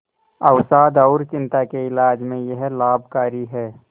अवसाद और चिंता के इलाज में यह लाभकारी है